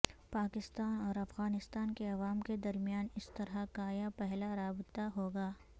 پاکستان اور افغانستان کے عوام کے درمیان اس طرح کا یہ پہلا رابطہ ہوگا